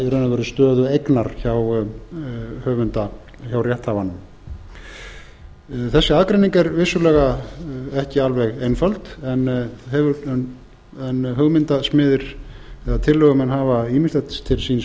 í raun og veru stöðu eignar hjá rétthafanum þessi aðgreining er vissulega ekki alveg einföld en hugmyndasmiðir eða tillögumenn hafa ýmsilegt til síns